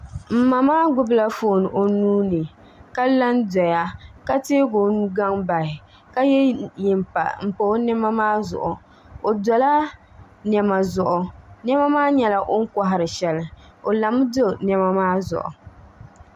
N ma maa gbubila foon o nuuni ka la n doya ka teegi o nugaŋ bahi ka yɛ yɛnpa n pa o niɛma maa zuɣu o dola niɛma zuɣu niɛma maa nyɛla o ni kohari shɛli o lami do niɛma maa zuɣu